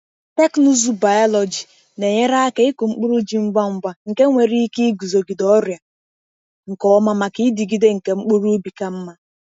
Teknụzụ biọlọjị na-enyere aka ịkụ mkpụrụ ji ngwa ngwa nke nwere ike iguzogide ọrịa nke ọma maka ịdịgide nke mkpụrụ ubi ka mma.